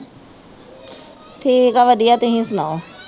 ਠੀਕ ਆ ਵਧਿਆ ਤੁਸੀਂ ਸੁਣਾਓ